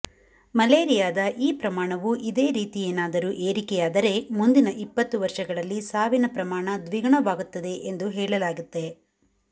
ಮಲೇರಿಯಾದ ಈ ಪ್ರಮಾಣವು ಇದೇ ರೀತಿಯೇನಾದರೂ ಏರಿಕೆಯಾದರೆ ಮುಂದಿನ ಇಪತ್ತು ವರ್ಷಗಳಲ್ಲಿ ಸಾವಿನ ಪ್ರಮಾಣ ದ್ವಿಗುಣವಾಗುತ್ತದೆ ಎಂದು ಹೇಳಲಾಗಿದೆ